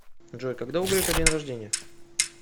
джой когда у грефа день рождение